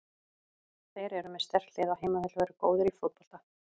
Þeir eru með sterkt lið á heimavelli og eru góðir í fótbolta.